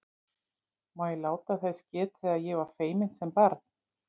Má ég láta þess getið að ég var feiminn sem barn?